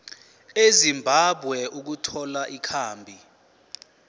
ezimbabwe ukuthola ikhambi